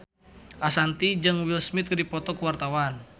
Ashanti jeung Will Smith keur dipoto ku wartawan